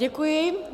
Děkuji.